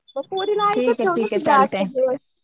पोरीला